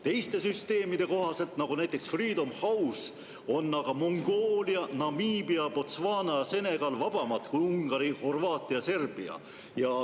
Teiste süsteemide kohaselt, näiteks Freedom House'i indeks, on Mongoolia, Namiibia, Botswana ja Senegal vabamad kui Ungari, Horvaatia ja Serbia.